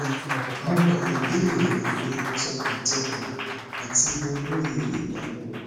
mo ka ìbéèrè rẹ ni tọkàntọkàn ati mo lóye ìdààmú rẹ